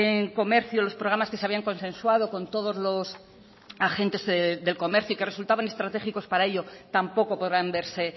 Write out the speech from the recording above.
en comercio los programas que se habían consensuado con todos los agentes del comercio y que resultaban estratégicos para ello tampoco podrán verse